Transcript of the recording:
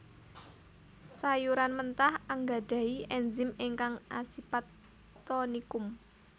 Sayuran mentah anggadhahi ènzim ingkang asipat tonikum